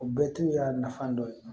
O bɛɛ tun y'a nafa dɔ ye